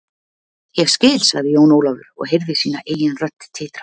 Ég skil, sagði Jón Ólafur og heyrði sína eigin rödd titra.